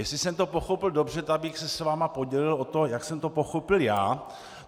Jestli jsem to pochopil dobře, tak bych se s vámi podělil o to, jak jsem to pochopil já.